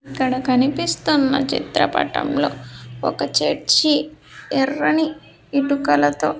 ఇక్కడ కనిపిస్తున్న చిత్రపటంలో ఒక చర్చి ఎర్రని ఇటుకలతో--